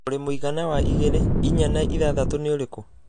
Olly mũigana wa igĩrĩ, inya na ithathatũ nĩ ũrĩkũ